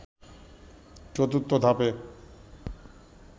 ৪র্থ ধাপে